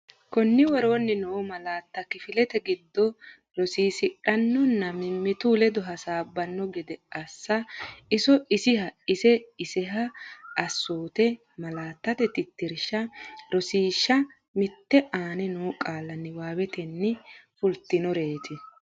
Konni woroonni noo malaatta kifilete giddo rosiisidhannonna mimmitu ledo hasaabbanno gede assa iso isiha ise iseha Assoote Malaattate Tittirsha Rosiishsha Mite Aane noo qaalla niwaawetenni fultinoreeti.